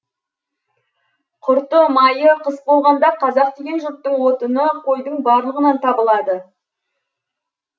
құрты майы қыс болғанда қазақ деген жұрттың отыны қойдың барлығынан табылады